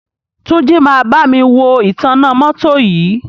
Túnjí máa bámi wo ìtanná mọ́tọ́ yìí.